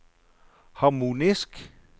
harmonisk